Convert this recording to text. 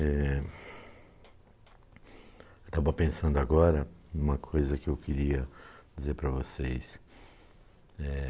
eh. Eu estava pensando agora em uma coisa que eu queria dizer para vocês. Eh...